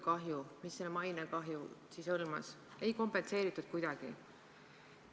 Kahju, mida selle maine kahjustamisega tekitati, ei kompenseeritud kuidagi.